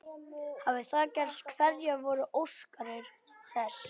Hafi það gerst hverjar voru orsakir þess?